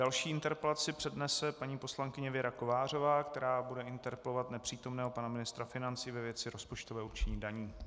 Další interpelaci přednese paní poslankyně Věra Kovářová, která bude interpelovat nepřítomného pana ministra financí ve věci rozpočtového určení daní.